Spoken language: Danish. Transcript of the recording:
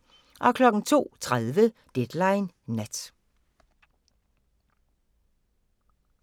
02:30: Deadline Nat